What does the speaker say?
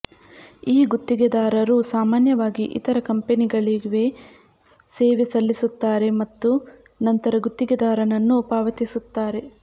ಈ ಗುತ್ತಿಗೆದಾರರು ಸಾಮಾನ್ಯವಾಗಿ ಇತರ ಕಂಪೆನಿಗಳಿಗೆ ಸೇವೆ ಸಲ್ಲಿಸುತ್ತಾರೆ ಮತ್ತು ನಂತರ ಗುತ್ತಿಗೆದಾರನನ್ನು ಪಾವತಿಸುತ್ತಾರೆ